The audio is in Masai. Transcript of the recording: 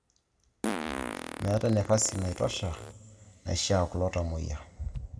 Meetae nafasi naitosha naishaa kulo tamuoyia